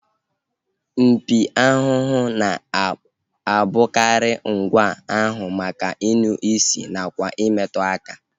Mpi ahụhụ na-abụkarị ngwa ahụ maka inụ isi nakwa imetụ aka